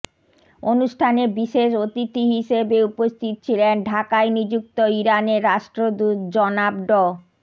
অনুষ্ঠানে বিশেষ অতিথি হিসেবে উপস্থিত ছিলেন ঢাকায় নিযুক্ত ইরানের রাষ্ট্রদূত জনাব ড